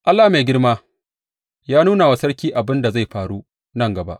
Allah mai girma ya nuna wa sarki abin da zai faru nan gaba.